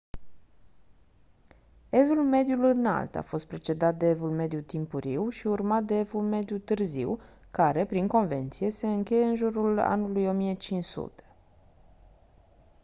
evul mediu înalt a fost precedat de evul mediu timpuriu și urmat de evul mediu târziu care prin convenție se încheie în jurul anului 1500